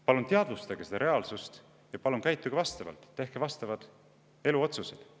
Palun sellega ja käituge vastavalt, tehke vastavad eluotsused!